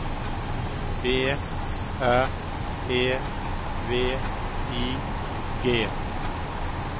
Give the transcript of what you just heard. B R E V I G